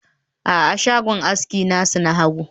a'a, shagon aski nasu na hagu